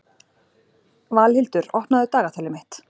Valhildur, opnaðu dagatalið mitt.